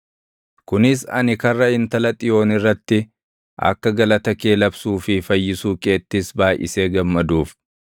kunis ani karra Intala Xiyoon irratti akka galata kee labsuu fi fayyisuu keettis baayʼisee gammaduuf.